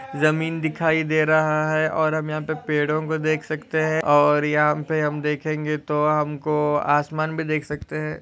जमीन दिखाई दे रहा है और हम यहा पर पेड़ो को देख सखते है और यहा पे हम देखेंगे तो हमको आसमान भी देख सखते है।